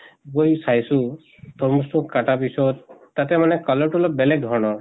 গৈ চাইছো, তৰ্মুজটো কাটা পিছত তাতে মানে color টো মানে অলপ বেলেগ ধৰণৰ